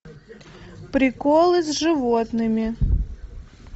приколы с животными